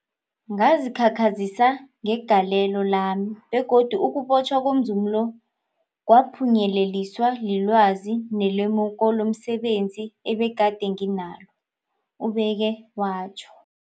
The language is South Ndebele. Ngazikhakhazisa ngegalelo lami, begodu ukubotjhwa komzumi lo kwaphunyeleliswa lilwazi nelemuko lomse benzi ebegade nginalo, ubeke watjho.